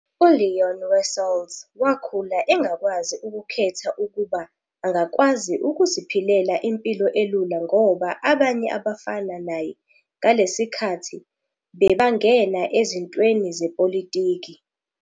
ULeon Wessels wakhula engakwazi ukukhetha ukuba angakwazi ukuziphilela impilo elula ngoba abanye abafana naye ngalesikhathi bebangena ezintweni zepolitiki.